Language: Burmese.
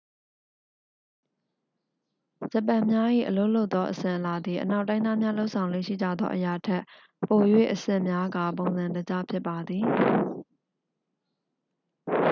ဂျပန်များ၏အလုပ်လုပ်သောအစဉ်အလာသည် အနောက်တိုင်းသားများ လုပ်ဆောင်လေ့ရှိကြသောအရာထက် ပို၍အဆင့်များကာ ပုံစံတကျ ဖြစ်ပါသည်